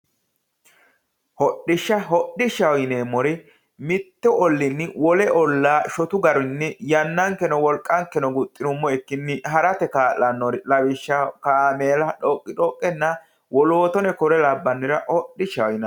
Hodishsha, hodishsha yineemmo woyte mitu ollinni wole ollinni yannankeno wolqankeno guxinuummokkinni harate kaa'lanori lawishshaho kaameella xoqixoqenna woleno kuri labbanore yineemmo.